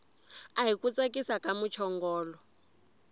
ahi ku tsakisa ka muchongolo